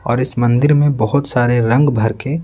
और इस मंदिर में बहुत सारे रंग भर के--